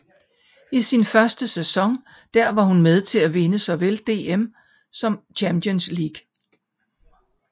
I sin første sæson der var hun med til at vinde såvel DM som Champions League